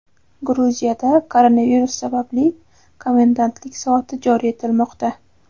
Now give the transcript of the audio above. Gruziyada koronavirus sababli komendantlik soati joriy etilmoqda.